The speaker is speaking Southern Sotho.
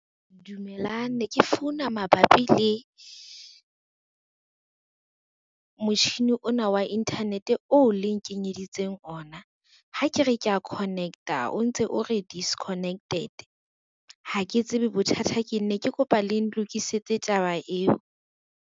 Dumelang ne ke founa mabapi le, motjhini ona wa internet oo le nkenyeditseng ona. Ha ke re kea connect-a o ntse o re disconnected, ha ke tsebe bothata keng ne ke kopa le ntokisetse taba eo.